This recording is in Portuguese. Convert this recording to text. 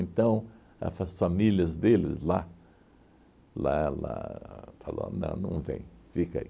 a fa as famílias deles lá lá lá falou, não, não vem, fica aí.